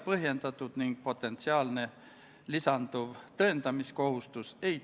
Kas Riigikogu liikmetel on soovi pidada läbirääkimisi?